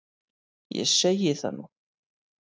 Ég segi það nú!